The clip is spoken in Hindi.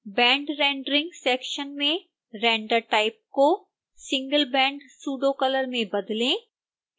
band rendering सेक्शन में render type को singleband pseudocolor में बदलें